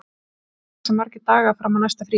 Silja, hversu margir dagar fram að næsta fríi?